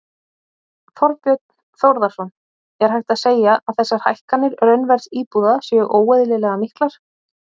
Þorbjörn Þórðarson: Er hægt að segja að þessar hækkanir raunverðs íbúða séu óeðlilega miklar?